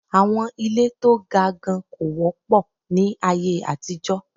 Àwọn ilé to ga gan kò wọ́pọ̀ ní aye àtijọ́.